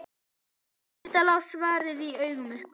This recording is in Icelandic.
Auðvitað lá svarið í augum uppi.